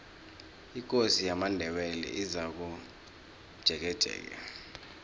ikosi yamandebele izakomjekejeke